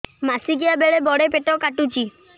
ମାସିକିଆ ବେଳେ ବଡେ ପେଟ କାଟୁଚି